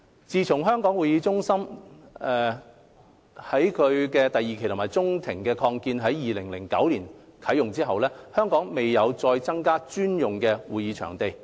自從香港會議展覽中心第二期中庭擴建於2009年啟用後，香港未有再增加專用的會展場地。